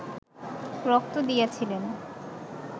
রক্ত দিয়েছিলেন